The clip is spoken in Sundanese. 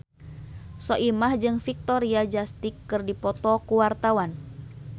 Soimah jeung Victoria Justice keur dipoto ku wartawan